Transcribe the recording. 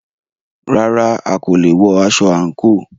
Rárá,a kò wọ aṣọ àńkò.